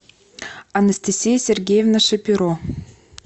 анастасия сергеевна шапиро